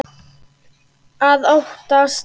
Að óttast!